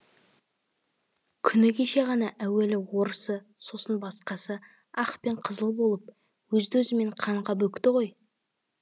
күні кеше ғана әуелі орысы сосын басқасы ақ пен қызыл болып өзді өзімен қанға бөкті ғой